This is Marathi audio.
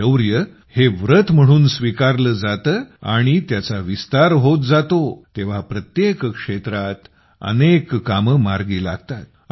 शौर्य हे व्रत म्हणून स्वीकारले जाते आणि त्याचा विस्तार होत जातो तेव्हा प्रत्येक क्षेत्रात अनेक कामे मार्गी लागतात